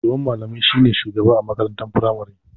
Shugaban malamai shi ne shugaba a makarantar firamari.